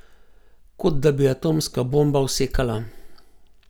Kot da bi atomska bomba vsekala.